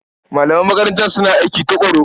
Malaman makarantar suna aiki tuƙuru.